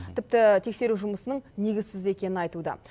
тіпті тексеру жұмысының негізсіз екенін айтуда